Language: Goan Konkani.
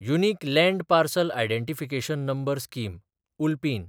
unique land parcel identification number scheme (उल्पीन)